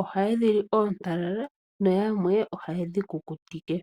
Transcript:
oha yedhili otakala nayamwe oha yedhikukutike.